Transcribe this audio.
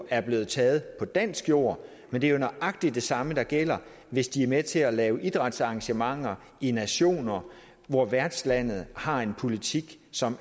er blevet taget på dansk jord men det er jo nøjagtig det samme der gælder hvis de er med til at lave idrætsarrangementer i nationer hvor værtslandet har en politik som